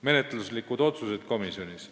Menetluslikud otsused oli järgmised.